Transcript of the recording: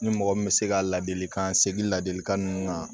Ni mɔgɔ min bɛ se ka ladilikan segi ladilikan ninnu kan